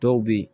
Dɔw bɛ yen